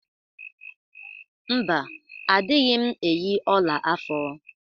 Mba, adịghị m eyi ọla afọ.